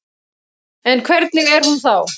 En hvernig er hún þá?